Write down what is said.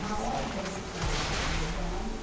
Na hora da retirada dos delegados,